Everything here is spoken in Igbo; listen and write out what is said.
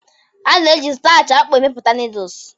A na-eji starch akpu amepụta Noodles